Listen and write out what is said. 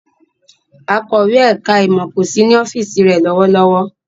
Akọ̀wé ẹ̀ka-ìmọ̀ kò sí ní ọ́fíísì rẹ̀ lọ́wọ́lọ́wọ́.